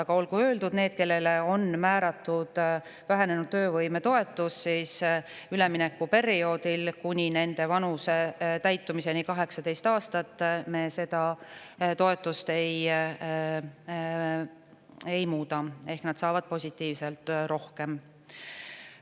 Aga olgu öeldud, et nendel, kellele on määratud vähenenud töövõime toetus, me üleminekuperioodil kuni nende 18 aasta täitumiseni seda toetust ei muuda ehk nad saavad positiivselt rohkem.